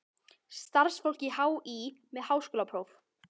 Starfsfólk HÍ með háskólapróf.